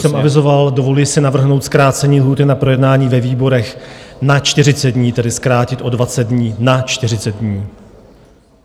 Jak už jsem avizoval, dovoluji si navrhnout zkrácení lhůty na projednání ve výborech na 40 dní, tedy zkrátit o 20 dní na 40 dní.